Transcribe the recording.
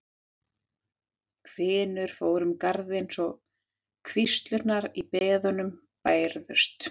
Hvinur fór um garðinn svo hríslurnar í beðunum bærðust.